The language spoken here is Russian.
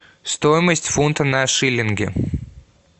стоимость фунта на шиллинги